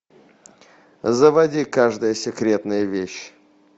заводи каждая секретная вещь